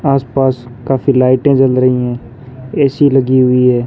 आसपास काफी लाइटे जल रही है ए_सी लगी हुई है।